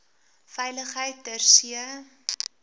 veiligheid ter see